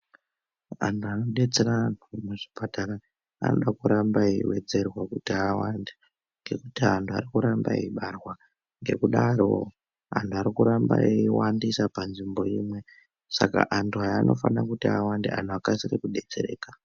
Andu anodetsera kuzvipatara anoda kuramba eiwedzerwa kuti awande ngekuti antu arikuramba eibarwa ngekudaro antu arikuramba eiwandisa panzvimbo saka antu aya anofanira kuti awande ano akasire kudetsereka.